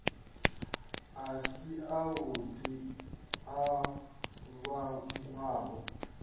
a si avhuḓi a vhangwaho